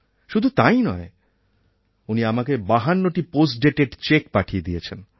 শুধু তাই নয় উনি আমাকে ৫২টি পোস্টডেটেড চেক পাঠিয়ে দিয়েছেন